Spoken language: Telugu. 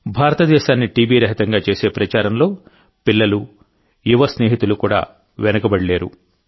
భారతదేశాన్ని టీబీ రహితంగా చేసే ప్రచారంలో పిల్లలు యువ స్నేహితులు కూడా వెనుకబడిలేరు